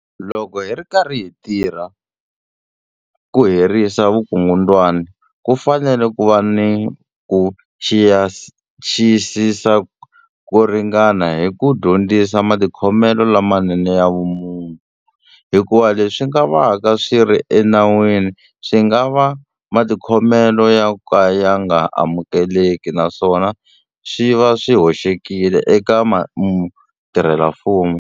Loko hi ri karhi hi tirha ku herisa vukungundwani, ku fanele ku va ni ku xiyisisa ko ringana hi ku dyondzisa matikhomelo lamanene ya vumunhu, hikuva leswi nga vaka swi ri enawini swi nga va matikhomelo yo ka ya nga amukeleki naswona swi va swi hoxekile eka mutirhela mfumo.